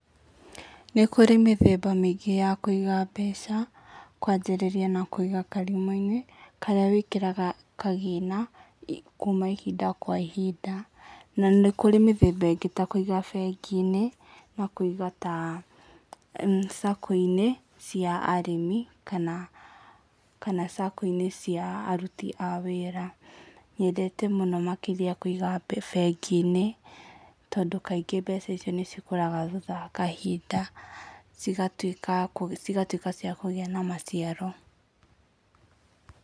Nĩ kũrĩ mĩthemba mĩingĩ ya kũiga mbeca, kwajĩrĩria na kũiga karimũ-inĩ, karĩa wĩkĩraga kagina, kuma ihinda kwa ihinda. Na nĩ kũrĩ mĩthemba ĩngĩ ta kũiga bengi-inĩ, na kũiga ta sacco-inĩ cia arĩmi kana sacco-inĩ cia aruti a wĩra. Nyendete mũno makĩria kũiga bengi-inĩ tondũ kaingĩ mbeca icio nĩ cikũraga thutha wa kahinda, cigatuĩka cia kũgĩa na maciaro